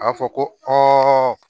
A fɔ ko